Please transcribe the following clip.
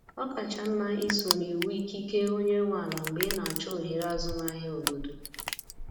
Ọ kacha mma isoro iwu ikike onye nwe ala mgbe ị na-achọ ohere azụmahịa obodo.